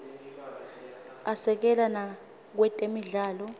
asekela nakwetemidlalo